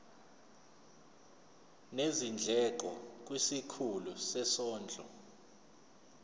nezindleko kwisikhulu sezondlo